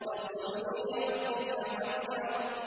فَصَلِّ لِرَبِّكَ وَانْحَرْ